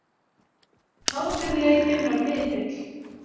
Hátíðleikinn var mikill.